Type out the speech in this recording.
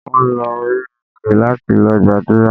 Wọ́n lọ orí òkè láti lọ gbàdúrà.